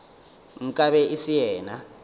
nka be e se yena